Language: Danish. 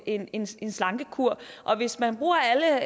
en en slankekur hvis man bruger alle